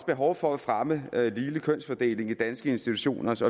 behov for at fremme ligelig kønsfordeling i danske institutioners